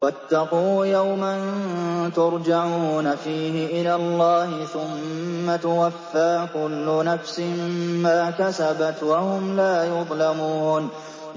وَاتَّقُوا يَوْمًا تُرْجَعُونَ فِيهِ إِلَى اللَّهِ ۖ ثُمَّ تُوَفَّىٰ كُلُّ نَفْسٍ مَّا كَسَبَتْ وَهُمْ لَا يُظْلَمُونَ